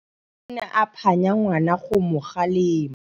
Rre o ne a phanya ngwana go mo galemela.